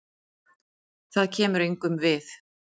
Það kemur engum við.